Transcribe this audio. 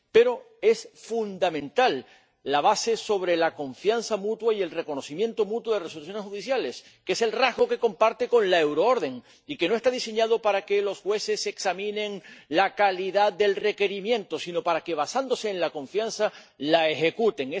Pero es fundamental la base sobre la confianza mutua y el reconocimiento mutuo de resoluciones judiciales, que es el rasgo que comparte con la euroorden, y que no está diseñada para que los jueces examinen la calidad del requerimiento, sino para que, basándose en la confianza, la ejecuten.